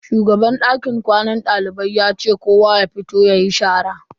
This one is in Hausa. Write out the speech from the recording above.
Shugaban dakin kwanan dalibai ya ce kowa ya fito yayi shara.